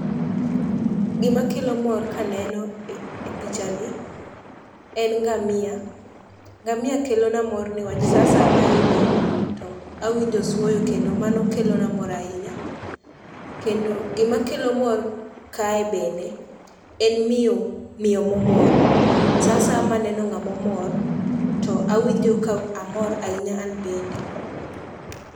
Gimakelo mor kaneno e pichani en ngamia. Ngamia kelona mor niwach sa asaya maidhe to awinjo oswoyo kendo mano kelona mor ahinya. Kendo gimakelo mor kae bende en miyo momor. Sa asaya maneno ng'amomor to awinjo ka amor ahinya an bende.